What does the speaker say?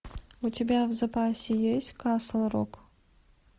у тебя в запасе есть касл рок